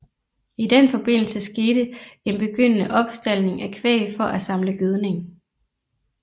I den forbindelse skete en begyndende opstaldning af kvæg for at samle gødning